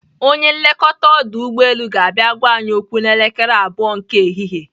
Onye nlekọta ọdụ ụgbọelu ga-abịa gwa anyị okwu n'elekere abụọ nke ehihie.